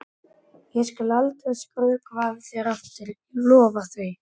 Ég skal aldrei skrökva að þér aftur, ég lofa því.